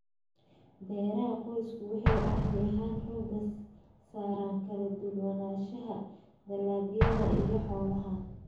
Beeraha qoysku waxay caadi ahaan xoogga saaraan kala duwanaanshaha dalagyada iyo xoolaha.